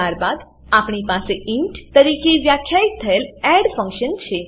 ત્યારબાદ આપણી પાસે ઇન્ટ તરીકે વ્યાખ્યિત થયેલ એડ ફંક્શન છે